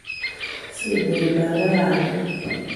Semberi mama pandek